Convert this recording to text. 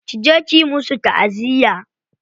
Ki je kiyi musu ta'aziyya.